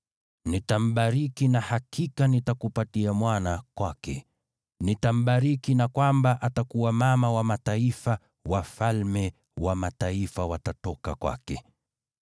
Nitambariki na hakika nitakupatia mwana kwake. Nitambariki na kwamba atakuwa mama wa mataifa, wafalme wa mataifa watatoka kwake.”